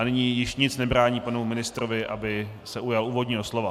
A nyní již nic nebrání panu ministrovi, aby se ujal úvodního slova.